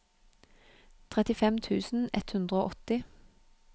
trettifem tusen ett hundre og åtti